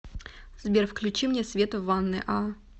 сбер включи мне свет в ванной а